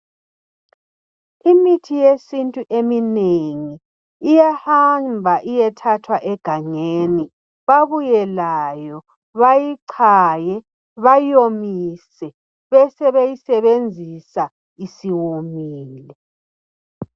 Imithi yesintu eminengi, ithathwa egangeni. Babuye layo, bayichaye, bayomise, besebeyisebenzisa isiwomile.